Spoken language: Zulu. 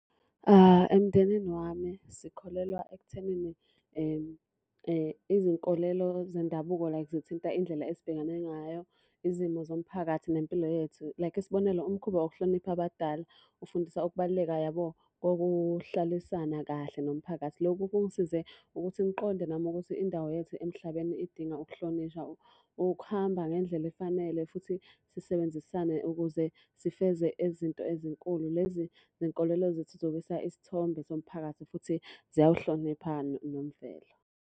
Emndenini wami sikholelwa ekuthenini izinkolelo zendabuko like zithinta indlela esibhekane ngayo, izimo zomphakathi, nempilo yethu. Like isibonelo, umkhuba wokuhlonipha abadala ufundisa ukubaluleka yabo kokuhlalisana kahle nomphakathi. Lokhu kungisize ukuthi ngiqonde nami ukuthi indawo yethu emhlabeni idinga ukuhlonishwa, ukuhamba ngendlela efanele futhi sisebenzisane ukuze sifeze ezinto ezinkulu. Lezi zinkolelo zithuthukisa isithombe somphakathi futhi ziyawuhlonipha nomvelo.